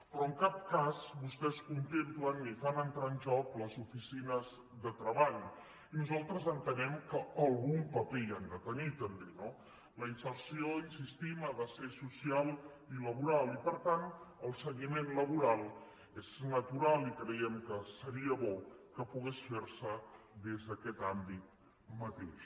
però en cap cas vostès contemplen ni fan entrar en joc les oficines de treball i nosaltres entenem que algun paper hi han de tenir també no la inserció hi insistim ha de ser social i laboral i par tant el seguiment laboral és natural i creiem que seria bo que pogués ferse des d’aquest àmbit mateix